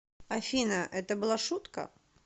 афина это была шутка